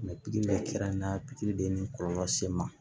pikiri bɛɛ kɛra n na pikiri de ye ni kɔlɔlɔ se n ma